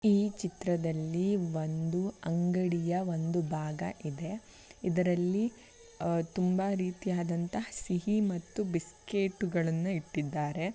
ಈ ಚಿತ್ರದಲ್ಲಿ ಒಂದು ಅಂಗಡಿಯ ಒಂದು ಭಾಗ ಇದೆ ಇದರಲ್ಲಿ ಆಹ್ಹ್ ತುಂಬಾ ರೀತಿಯಾದ ಸಿಹಿ ಮತ್ತು ಬಿಸ್ಕೆಟ್ಗಳನ್ನು ಇಟ್ಟಿದ್ದಾರೆ.